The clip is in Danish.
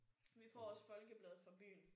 Vi får også folkebladet fra byen